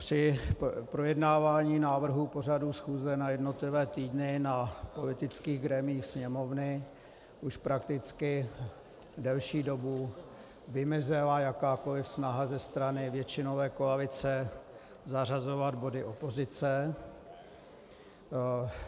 Při projednávání návrhu pořadu schůze na jednotlivé týdny na politických grémiích Sněmovny už prakticky delší dobu vymizela jakákoliv snaha ze strany většinové koalice zařazovat body opozice.